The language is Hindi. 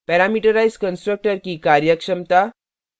parameterized constructor की कार्यक्षमता